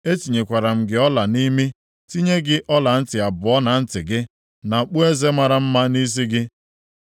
Etinyekwara m gị ọla nʼimi, tinye gị ọlantị abụọ na ntị gị, na okpueze mara mma nʼisi gị.